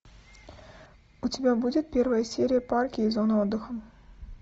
у тебя будет первая серия парки и зоны отдыха